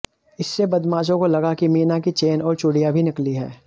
इससे बदमाशों को लगा कि मीना की चेन और चूड़ियां भी नकली हैं